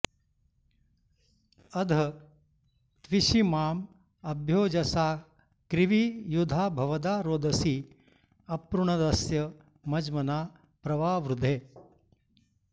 अध॒ त्विषी॑माँ अ॒भ्योज॑सा॒ क्रिविं॑ यु॒धाभ॑व॒दा रोद॑सी अपृणदस्य म॒ज्मना॒ प्र वा॑वृधे